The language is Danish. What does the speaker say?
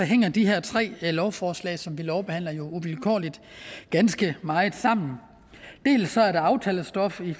hænger de her tre lovforslag som vi behandler jo uvilkårligt ganske meget sammen dels er det aftalestof i